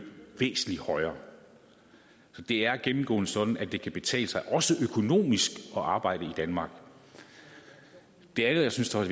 væsentlig højere så det er gennemgående sådan at det kan betale sig også økonomisk at arbejde i danmark det andet jeg synes er